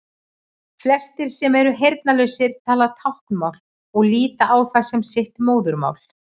Flestir sem eru heyrnarlausir tala táknmál og líta á það sem sitt móðurmál.